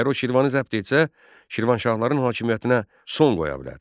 Ərəb Şirvanı zəbt etsə, Şirvanşahların hakimiyyətinə son qoya bilər.